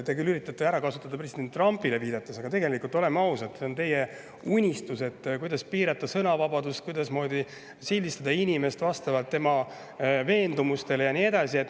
Te küll üritate kasutada president Trumpile viitamist, aga tegelikult, oleme ausad, on see teie unistus, et piirata sõnavabadust, et sildistada inimest vastavalt tema veendumustele ja nii edasi.